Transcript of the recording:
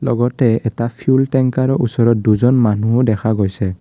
লগতে এটা fuel tanker ওচৰত দুজন মানুহো দেখা গৈছে।